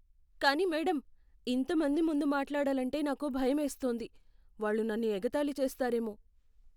కానీ మేడమ్, ఇంత మంది ముందు మాట్లాడాలంటే నాకు భయమేస్తోంది. వాళ్ళు నన్ను ఎగతాళి చేస్తారేమో.